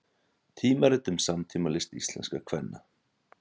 Tímarit um samtímalist íslenskra kvenna